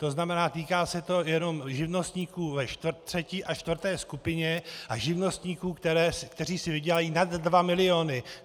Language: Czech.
To znamená, týká se to jenom živnostníků ve třetí a čtvrté skupině a živnostníků, kteří si vydělají nad 2 miliony.